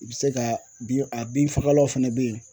I bɛ se ka bin a bin fagalaw fɛnɛ be yen